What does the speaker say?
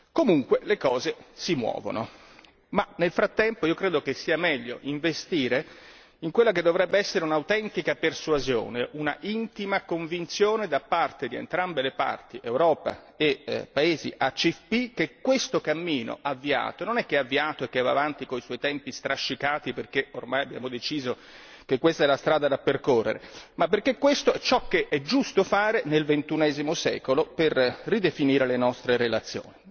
Comunque le cose si muovono, ma nel frattempo io credo che sia meglio investire in quella che dovrebbe essere un'autentica persuasione, un'intima convinzione da parte di entrambe le parti, Europa e paesi ACP che questo cammino avviato, non è che è avviato e che va avanti con i suoi tempi strascicati perché ormai abbiamo deciso che questa è la strada da percorrere, ma perché questo è ciò che è giusto fare nel XXI secolo per ridefinire le nostre relazioni.